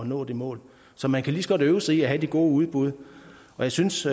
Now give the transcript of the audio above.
nå det mål så man kan lige så godt øve sig i at have de gode udbud og jeg synes